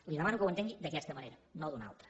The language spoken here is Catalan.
li demano que ho entengui d’aquesta manera no d’una altra